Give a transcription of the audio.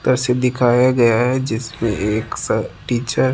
क से दिखाया गया है जिसमें एक सर टीचर --